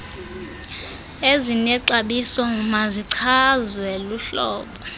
ezinexabiso mazichazwe luhlolo